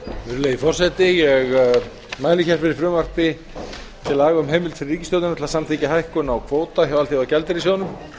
virðulegi forseti ég mæli fyrir frumvarpi til laga um heimild fyrir ríkisstjórnina til að samþykkja hækkun á kvóta hjá alþjóðagjaldeyrissjóðnum